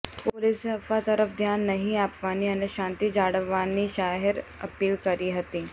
પોલીસે અફવા તરફ ધ્યાન નહીં આપવાની અને શાંતિ જાળવવાની જાહેર અપીલ કરી હતી